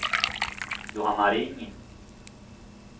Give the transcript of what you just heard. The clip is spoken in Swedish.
Johanna Ring